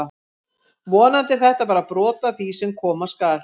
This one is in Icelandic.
Vonandi er þetta bara brot af því sem koma skal!